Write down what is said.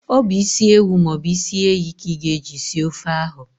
Ọ bụ ịsi ewu maọbụ ịsị ehi ka ị ga eji sie ofe ahu